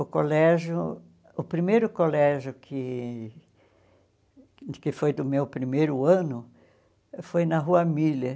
O colégio, o primeiro colégio que que foi do meu primeiro ano, foi na rua Miller.